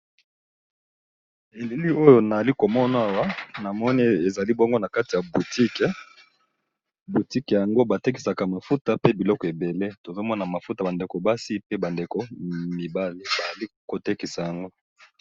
Elili oyo nayali komona awa eza nakati ya boutique batekisaka mafuta pe ba biloko ebele tozomona mafuta ya ba ndeko basi na mibali bazo tekisa yango